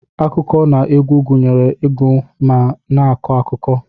Akụkọ na egwu gunyere igu ma na akọ akụkọ.